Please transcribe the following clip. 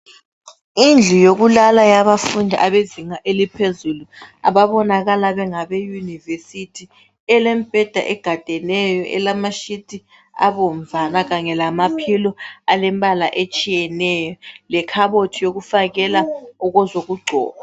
Indlu yokulala ,yabafundi abezinga eliphezulu .Ababonakala bengabe university ,elemibheda egadeneyo. Elama sheet abomvana kanye lama pillow alembala etshiyeneyo , lekhabothi yokufakela ezokugcoba.